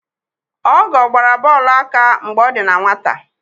Ọgọọ gbara bọọlụ aka mgbe ọ dị na nwata.